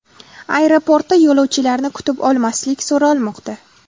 Aeroportda yo‘lovchilarni kutib olmaslik so‘ralmoqda.